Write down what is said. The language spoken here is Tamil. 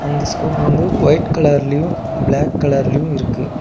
அந்த ஸ்கோப் வந்து ஒய்ட் கலர்லயு பிளாக் கலர்லயு இருக்கு.